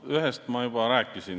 Ühest ma juba rääkisin.